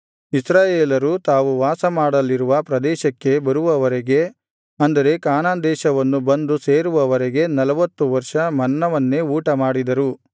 ಇಸ್ರಾಯೇಲರು ತಾವು ವಾಸಮಾಡಲಿರುವ ಪ್ರದೇಶಕ್ಕೆ ಬರುವವರೆಗೆ ಅಂದರೆ ಕಾನಾನ್ ದೇಶವನ್ನು ಬಂದು ಸೇರುವವರೆಗೆ ನಲ್ವತ್ತು ವರ್ಷ ಮನ್ನವನ್ನೇ ಊಟಮಾಡಿದರು